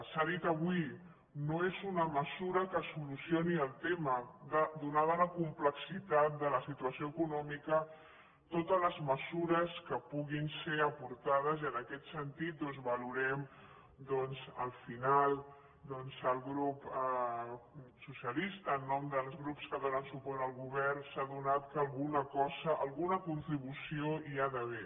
s’ha dit avui no és una mesura que solucioni el tema donada la complexitat de la situació econòmica totes les mesures que puguin ser aportades i en aquest sentit valorem doncs al final el grup socialista en nom dels grups que donen suport al govern s’ha adonat que alguna cosa alguna contribució hi ha d’haver